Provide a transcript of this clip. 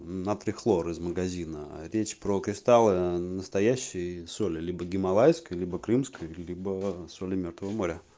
натрий хлор из магазина речь про кристаллы настоящий соли либо гималайской либо крымской либо соли мёртвого моря